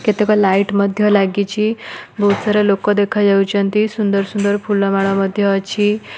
କେତେକ ଲାଇଟ ମଧ୍ଯ ଲାଗିଛି ବହୁତ ସାର ଲୋକ ଦେଖାଯାଉଛନ୍ତି ସୁନ୍ଦର ସୁନ୍ଦର ଫୁଲ ମାଳ ମଧ୍ଯ ଅଛି।